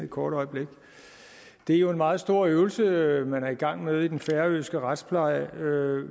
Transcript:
et kort øjeblik det er jo en meget stor øvelse man er i gang med i den færøske retspleje